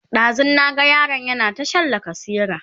ɗazun na ga yaron yana ta Shan lacasera